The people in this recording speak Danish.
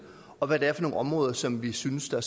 og hvad det er for nogle områder som vi synes der